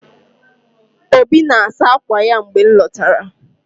Obi na-asa akwa ya mgbe m lọtara.